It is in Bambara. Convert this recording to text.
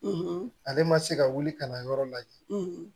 ale ma se ka wuli ka na yɔrɔ lajɛ